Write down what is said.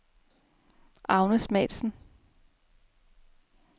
Agnes Matzen